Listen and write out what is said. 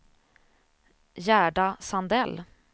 Gerda Sandell